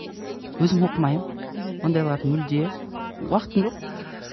өзім оқымаймын мхм ондайларды мүлде уақытым жоқ